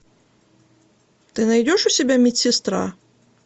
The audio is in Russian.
ты найдешь у себя медсестра